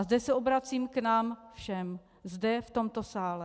A zde se obracím k nám všem zde v tomto sále.